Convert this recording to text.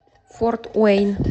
форт уэйн